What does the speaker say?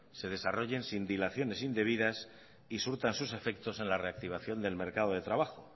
se desarrollen sin dilaciones indebidas y surtan sus efectos en la reactivación del mercado de trabajo